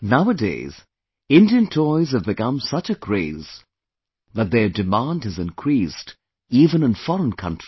Nowadays, Indian toys have become such a craze that their demand has increased even in foreign countries